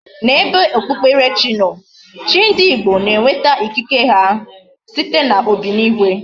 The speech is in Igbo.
Na ebe okpukpere chi no, chi ndi Igbo na enweta ikike ha site na obinigwe